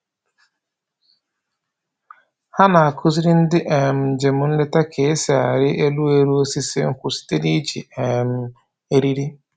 Ha na-akụziri ndị um njem nleta ka-esi arị elu elu osisi nkwụ site n'iji um eriri